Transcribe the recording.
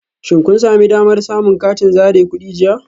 Shin kun sami damar samun katin zare kudi jiya?